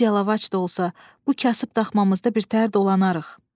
Ac yalavac da olsa, bu kasıb daxmamızda bir tər dolanarıq.